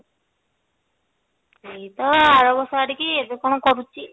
ଏଇ ତ ଆରବର୍ଷ ଆଡିକି ଏବେ କଣ କରୁଛି